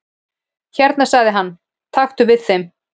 """Hérna sagði hann, taktu við þeim"""